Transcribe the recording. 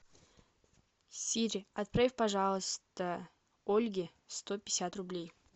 сири отправь пожалуйста ольге сто пятьдесят рублей